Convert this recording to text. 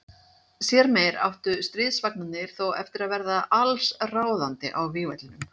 Síðar meir áttu stríðsvagnarnir þó eftir að verða alls ráðandi á vígvellinum.